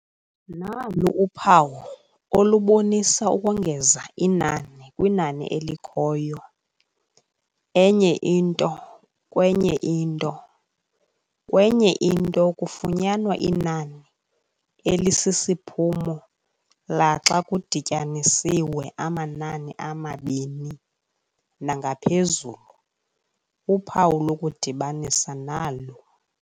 Nalu uphawu olubonisa ukongeza inani kwinani elikhoyo plus enye into kwenyeinto kwenye into kufunyanwa inani elisisiphumo laxa kudityaniswe amanani amabini nangaphezulu. uphawu lokudibanisa nalu.